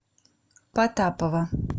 потапова